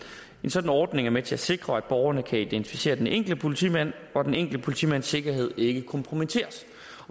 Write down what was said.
sådan ordning er med til at sikre at borgerne kan identificere den enkelte politimand og at den enkelte politimands sikkerhed ikke kompromitteres